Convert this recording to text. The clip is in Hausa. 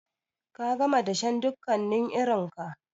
Ka gama dashen dukkanin irinka?